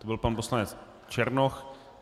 To byl pan poslanec Černoch.